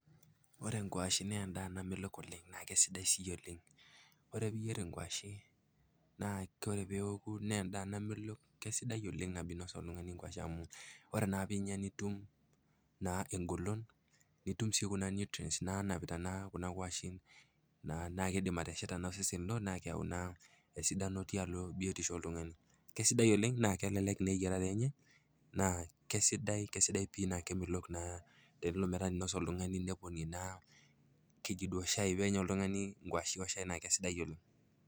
endaa namelok oleng na kesidai sii oleng, ore piyier enkwashe na ore peoku na endaa namelok teneaku inasa oltungani nkwashen ore naa pinya nitum na engolon nitum naa kuna nutrients nanapita kuna kwashen na kidim ena atesheta osesen lino na keyau esidano tialo biotisho oltungani, kesidai oleng na kelelek na eyiarare enye na kesidai pii tenilo metaaneponie shai ,ngwashe oshai na kesidai oleng